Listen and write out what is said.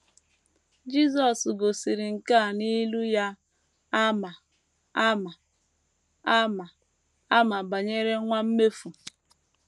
Jisọs gosiri nke a n’ilu ya a ma ama a ma ama banyere nwa mmefu.